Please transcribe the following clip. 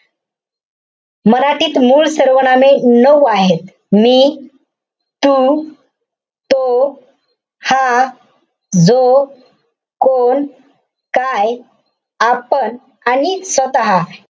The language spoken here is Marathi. मराठीत मूळ सर्वनामे नऊ आहेत. मी, तू, तो, हा, जो, कोण, काय, आपण आणि स्वतः.